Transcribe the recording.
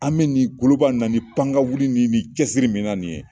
An bɛ ni koloba in na ni panga wuli ni nin cɛsiri min na nin ye.